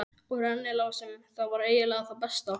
Og rennilásum- það var eiginlega það besta.